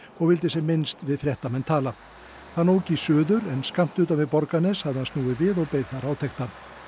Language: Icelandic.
og vildi sem minnst við fréttamann tala hann ók í suður en skammt utan við Borgarnes hafði hann snúið við og beið þar átekta